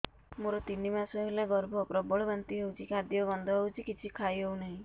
ମୋର ତିନି ମାସ ହେଲା ଗର୍ଭ ପ୍ରବଳ ବାନ୍ତି ହଉଚି ଖାଦ୍ୟ ଗନ୍ଧ ହଉଚି କିଛି ଖାଇ ହଉନାହିଁ